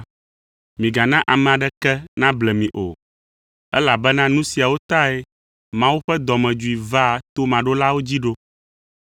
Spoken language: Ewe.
Migana ame aɖeke nable mi o, elabena nu siawo tae Mawu ƒe dɔmedzoe vaa tomaɖolawo dzi ɖo.